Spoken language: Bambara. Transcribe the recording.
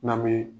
N'an bɛ